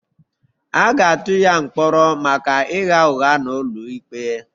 A ga-atụ ya mkpọrọ maka ịgha ụgha n'ụlọ ikpe